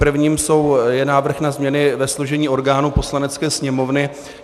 Prvním je návrh na změny ve složení orgánů Poslanecké sněmovny.